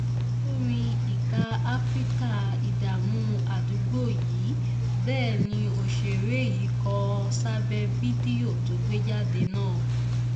olórin ìka afrika ìdààmú àdúgbò yín bẹ́ẹ̀ ni òṣèré yìí kó o sábẹ́ fídíò tó gbé jáde náà